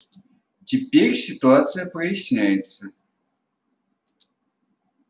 теперь ситуация проясняется